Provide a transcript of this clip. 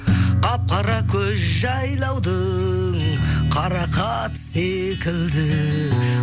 қап қара көз жайлаудың қарақаты секілді